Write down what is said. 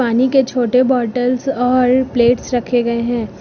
पानी के छोटे बॉटल्स और प्लेट्स रखे गए हैं।